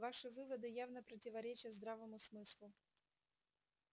ваши выводы явно противоречат здравому смыслу